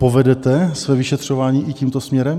Povedete své vyšetřování i tímto směrem?